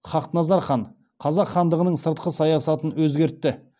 хақназар хан қазақ хандығының сыртқы саясатын өзгертті